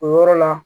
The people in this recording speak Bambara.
O yɔrɔ la